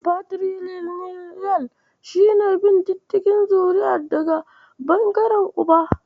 Fatiriliniyal shi ne bin diddigin zuri'a daga ɓangaren Uba.